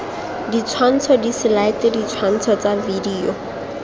ditshwantsho diselaete ditshwantsho tsa video